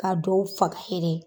Ka dɔw faga yen.